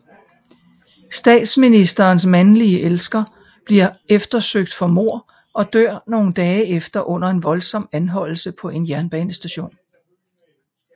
Statsministerens mandlige elsker bliver eftersøgt for mordet og dør nogle dage efter under en voldsom anholdelse på en jernbanestation